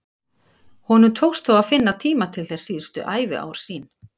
Honum tókst þó að finna tíma til þess síðustu æviár sín.